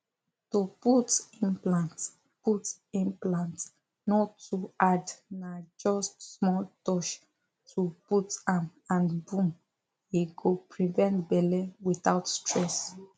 to put implant put implant no too hard na just small touch to put am and boom e go prevent belle without stress